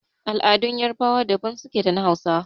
Al'adun yarbawa daban suke da na hausawa.